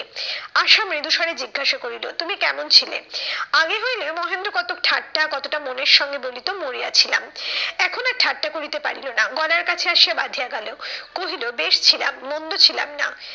আশা মৃদুস্বরে জিজ্ঞসা করিল, তুমি কেমন ছিলে? আগে হইলে মহেন্দ্র কতক ঠাট্টা কতটা মনের সঙ্গে বলিত মরিয়া ছিলাম। এখন আর ঠাট্টা করিতে পারিল না গলার কাছে আসিয়া বাঁধিয়া গেলো। কহিল বেশ ছিলাম মন্দ ছিলাম না।